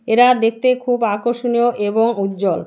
এরা দেখতে খুব আকর্ষণীয় এবং উজ্জ্বল।